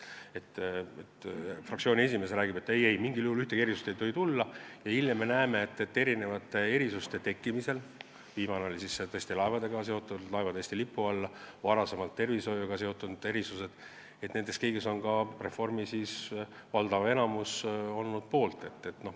Fraktsiooni esimees räägib, et ei-ei, mitte mingil juhul ei tohi ühtegi erandit tulla, aga hiljem, erandite tekkimisel – viimane kord oli see laevade Eesti lipu alla toomine, varem olid need tervishoiuga seotud erandid – on ka valdav osa Reformierakonnast olnud poolt.